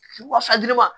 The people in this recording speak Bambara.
Wa